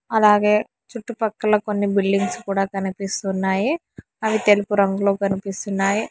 అలాగే చుట్టుపక్కల కొన్ని బిల్డింగ్స్ కూడా కనిపిస్తున్నాయి అవి తెలుపు రంగులో కనిపిస్తున్నాయి.